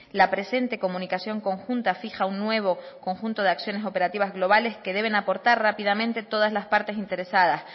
la presente comunicación conjunta fija un nuevo conjunto de acciones operativas globales que deben aportar rápidamente todas las partes interesadas